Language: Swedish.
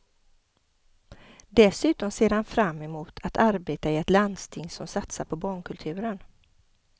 Dessutom ser han fram emot att arbeta i ett landsting som satar på barnkulturen.